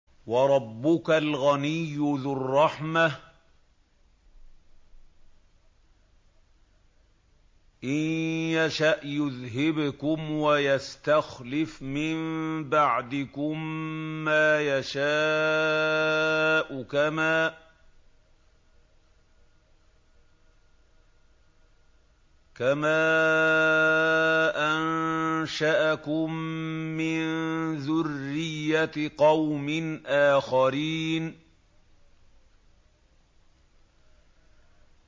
وَرَبُّكَ الْغَنِيُّ ذُو الرَّحْمَةِ ۚ إِن يَشَأْ يُذْهِبْكُمْ وَيَسْتَخْلِفْ مِن بَعْدِكُم مَّا يَشَاءُ كَمَا أَنشَأَكُم مِّن ذُرِّيَّةِ قَوْمٍ آخَرِينَ